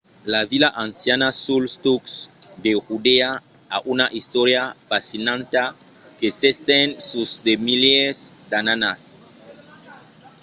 la vila anciana suls tucs de judèa a una istòria fascinanta que s'estend sus de milièrs d'annadas